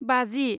बाजि